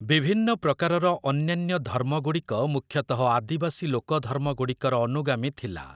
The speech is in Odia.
ବିଭିନ୍ନ ପ୍ରକାରର ଅନ୍ୟାନ୍ୟ ଧର୍ମଗୁଡ଼ିକ ମୁଖ୍ୟତଃ ଆଦିବାସୀ ଲୋକଧର୍ମଗୁଡ଼ିକର ଅନୁଗାମୀ ଥିଲା ।